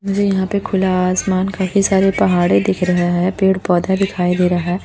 मुझे यहां पे खुला आसमान काफी सारे पहाड़े दिख रहा है पेड़ पौधे दिखाई दे रहा है।